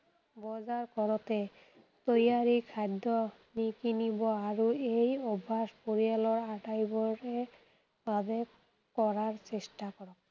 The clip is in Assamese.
বজাৰ কৰোতে তৈয়াৰী খাদ্য নিকিনিব আৰু এই অভ্যাস পৰিয়ালৰ আটাইবোৰে বাবে কৰাৰ চেষ্টা কৰক।